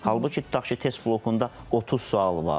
Halbuki tutaq ki, test blokunda 30 sual var.